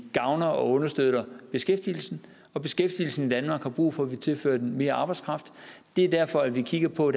gavner og understøtter beskæftigelsen og beskæftigelsen i danmark har brug for at vi tilfører den mere arbejdskraft det er derfor at vi kigger på